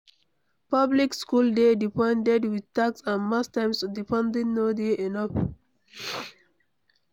Public school dey de funded with tax and most times di funding no dey enough